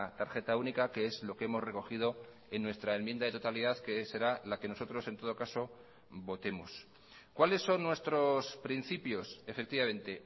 tarjeta única que es lo que hemos recogido en nuestra enmienda de totalidad que será la que nosotros en todo caso votemos cuáles son nuestros principios efectivamente